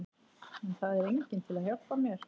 En það er enginn til að hjálpa mér.